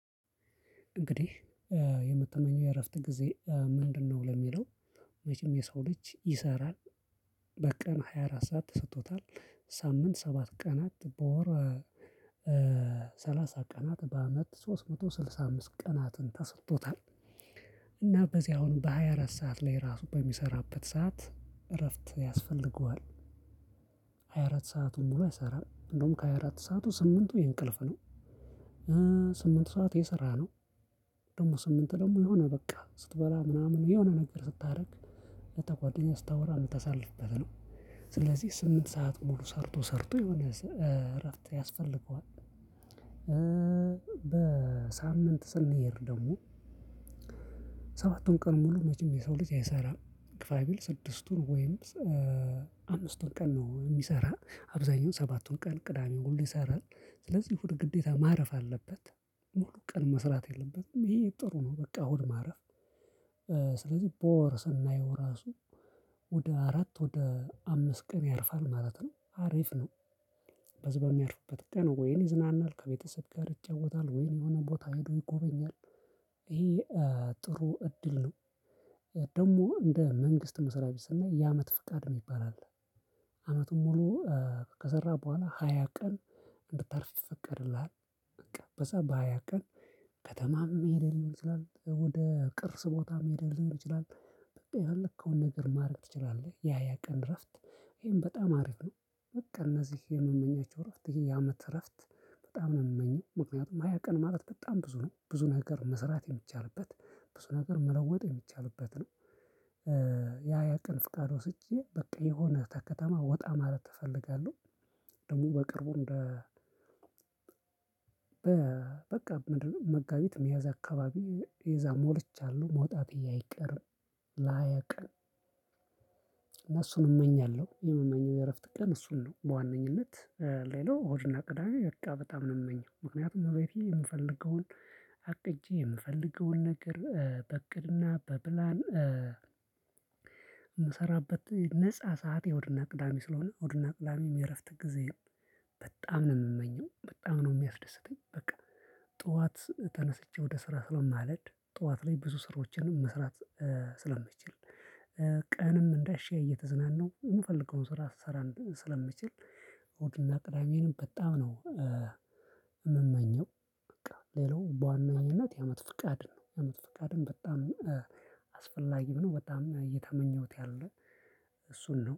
እንግዲህ የምትመኘው የእረፍት ጊዜ ምንድነው? ለሚለው መቼም የሰው ልጅ ይሰራል በቀን ሃያ አራት ሰዓት ተሰጥቶታል ሳምንት ሰባት ቀናት በወር። ሰላሳ ቀናት በአመት ሶስት መቶ ስልሳ አምስት ቀናትን ተሰጥቶታል። እና በዚህ አሁን በሃያ አራት ሰዓት ላይ ራሱ በሚሰራበት ሰዓት እረፍት ያስፈልገዋል። ሃያ አራት ሰአቱን ሙሉ አይሰራም እንደውም ከሃያ አራት ሰዓቱ ስምንቱ የእንቅልፍ ነው። ስምንት ሰዓት የሰራ ነው። ደግሞ ስምንት ደግሞ የሆነ በቃ ስትበላ ምናምን የሆነ ነገር ስታደርግ ለታ ጓደኛ ስታወራ ምታሳልፍበት ነው። ስለዚህ ስምንት ሰዓት ሙሉ ሰርቶ ሰርቶ የሆነ እረፍት ያስፈልገዋል። በሳምንት ስንሄድ ደግሞ። ሰባቱን ቀን ሙሉ መቼም የሰው ልጅ አይሰራም ግፋ ቢል ስድስቱን ወይም አምስቱን ቀን ነው የሚሰራ አብዛኛው ሰባቱን ቀን ቅዳሜው ሁሉ ይሰራል። ስለዚህ እሁድ ግዴታ ማረፍ አለበት። ሙሉ ቀን መስራት የለበትም ይሄ ጥሩ ነው። በቃ እሁድ ማረፍ። ስለዚህ በወር ሰናየው ራሱ ወደ አራት ወደ አምስት ቀን ያርፋል ማለት ነው አሪፍ ነው። በዚ በሚያርፍበት ቀን ወይን ይዝናናል ከቤተሰብ ጋር ይጫወታል ወይን የሆነ ቦታ ሄዶ ይጎበኛል። ይሄ ጥሩ እድል ነው። ደግሞ እንደ መንግስት መስርያ ቤት ስናይ የአመት ፍቃድ የሚባል አለ። አመቱን ሙሉ ከሰራ በኋላ ሃያ ቀን እንድታርፍ ይፈቀድልሀል። በቃ በዛ በሃያ ቀን ከተማም መሄድ ሊሆን ይችላል ወደ ቅርስ ቦታም መሄድም ሊሆን ይችላል። በቃ የፈለከውን ነገር ማድረግ ትችላለህ። የሃያ ቀን እረፍት ይሄን በጣም አሪፍ ነው። በቃ እነዚህ የምመኛቸው እረፍት ይሄ የአመት እረፍት። በጣም ነው የምመኘው ምክንያቱም ሃያ ቀን ማለት በጣም ብዙ ነው ብዙ ነገር መስራት የሚቻልበት ብዙ ነገር መለወጥ የሚቻልበት ነው። የሃያ ቀን ፍቃድ ወስጄ በቃ የሆነ ከከተማ ወጣ ማለት እፈልጋለሁ። ደግሞ በቅርቡ እንደ በበቃ መጋቢት ሚያዝያ አካባቢ የዛ ሞልቻለሁ መውጣቴ አይቀር። ለ ሃያ ቀን እና እሱን እመኛለሁ የምመኘው የእረፍት ቀን እሱን ነው። በዋነኝነት ሌላው እሁድና ቅዳሜ በቃ በጣም ነው የምመኘው ምክንያቱም እቤቴ የምፈልገውን አቅጄ የምፈልገውን ነገር በእቅድና በፕላን። የምሰራበት ነፃ ሰዓቴ እሁድና ቅዳሜ ስለሆነ እሁድና ቅዳሜም የእረፍት ጊዜም በጣም ነው የምመኘው በጣም ነው የሚያስደስተኝ በቃ። ጠዋት ተነስቼ ወደ ስራ ስለማልሄድ ጠዋት ላይ ብዙ ስራዎችንም መስራት ስለምችል ቀንም እንዳሻይ እየተዝናናው የምፈልገውን ስራ ስሰራ ስለምችል እሁድና ቅዳሜንም በጣም ነው። የምመኘው። በቃ ሌላው በዋናኝነት የአመት ፍቃድ ነው የአመት ፍቃድን በጣም አስፈላጊም ነው በጣም እየተመኘሁት ያለ። እሱን ነው